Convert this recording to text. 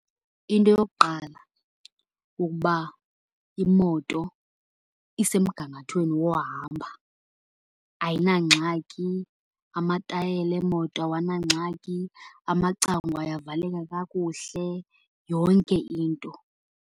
Into yokuqala kukuba imoto isemgangathweni wohamba, ayinangxaki. Amatayela emoto awanangxaki, amacango ayavaleka kakuhle, yonke into.